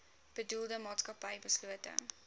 bedoelde maatskappy beslote